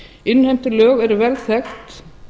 innheimtulög eru vel þekkt